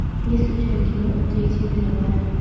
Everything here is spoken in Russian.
есть ли у тебя кино третья мировая